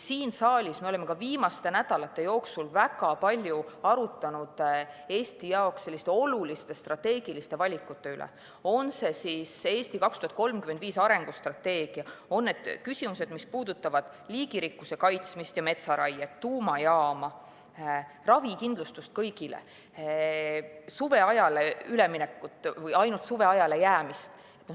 Siin saalis me oleme ka viimaste nädalate jooksul väga palju arutanud Eesti jaoks oluliste strateegiliste valikute üle, on see siis "Eesti 2035" arengustrateegia, on need küsimused, mis puudutavad liigirikkuse kaitsmist ja metsaraiet, tuumajaama, ravikindlustust kõigile, suveajale üleminekut või ainult suveajale jäämist.